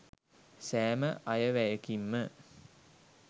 සෑම අයවැයකින්ම